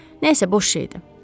Nəsə, boş şeydir.